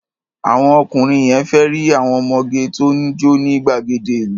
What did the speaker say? Àwọn ọkùnrin yẹn fẹ́ rí àwọn ọmọge tó ń jó ní gbàgede ìlú.